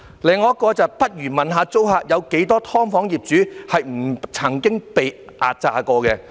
另有一則留言："不如問一下租客，有多少'劏房'業主不曾壓榨過租客"。